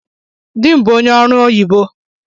Dị m bụ ónyé ọrụ oyibo